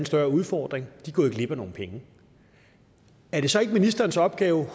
større udfordring er gået glip af nogle penge er det så ikke ministerens opgave